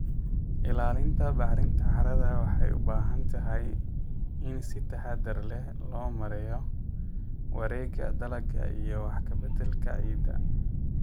Ilaalinta bacrinta carrada waxay u baahan tahay in si taxadar leh loo maareeyo wareegga dalagga iyo wax ka beddelka ciidda.